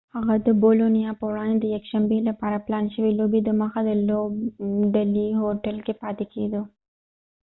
هغه د بولونیا په وړاندې د یکشنبي لپاره پلان شوي لوبي دمخه د لوبډلیهوټل کې پاتې کیدو